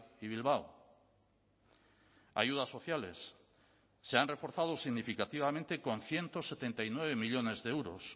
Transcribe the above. y bilbao ayudas sociales se han reforzado significativamente con ciento setenta y nueve millónes de euros